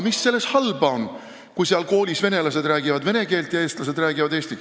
Mis selles halba on, kui venelased räägivad neis koolides vene keelt ja eestlased eesti keelt?